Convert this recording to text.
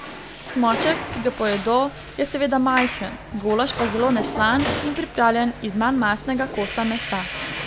Cmoček, ki ga pojedo, je seveda majhen, golaž pa zelo neslan in pripravljen iz manj mastnega kosa mesa.